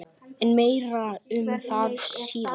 En meira um það síðar.